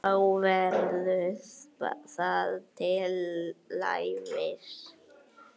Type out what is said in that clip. Þá verður það til Levís.